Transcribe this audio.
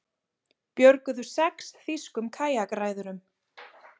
Björguðu sex þýskum kajakræðurum